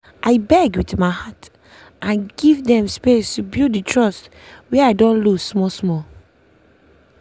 i beg with my heart and give dem space to build the trust wey i don loose small small.